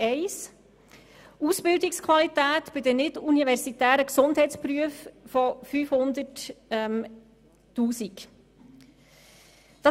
Es geht um eine Massnahme betreffend die Ausbildungsqualität bei den nicht-universitären Gesundheitsberufen im Umfang von 500 000 Franken.